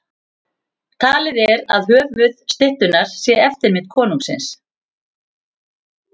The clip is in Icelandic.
Talið er að höfuð styttunnar sé eftirmynd konungsins.